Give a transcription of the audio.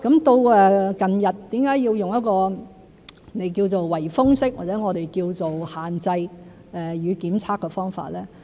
到近日為甚麼要用一個你稱為"圍封式"，或我們稱為"限制與檢測"的方法？